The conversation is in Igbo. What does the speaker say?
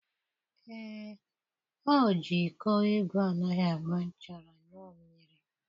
Ee, o ji iko igwe anaghị agba nchara ṅụọ mmiri.